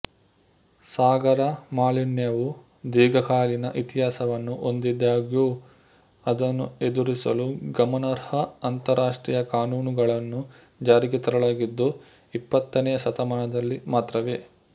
ಸಾಗರ ಮಾಲಿನ್ಯವು ದೀರ್ಘಕಾಲೀನ ಇತಿಹಾಸವನ್ನು ಹೊಂದಿದ್ದಾಗ್ಯೂ ಅದನ್ನು ಎದುರಿಸಲು ಗಮನಾರ್ಹ ಅಂತರರಾಷ್ಟ್ರೀಯ ಕಾನೂನುಗಳನ್ನು ಜಾರಿಗೆ ತರಲಾಗಿದ್ದು ಇಪ್ಪತ್ತನೆಯ ಶತಮಾನದಲ್ಲಿ ಮಾತ್ರವೇ